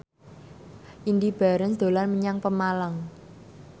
Indy Barens dolan menyang Pemalang